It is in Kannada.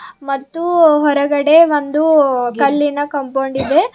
ಮತ್ತು ಹೊರಗಡೆ ಒಂದು ಕಲ್ಲಿನ ಕಂಪೌಂಡ್ ಇದೆ.